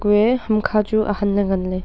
kue hamkha chu ahanley nganley tailey.